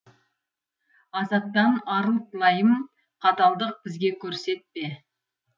азаптан арылт лайым қаталдық бізге көрсетпе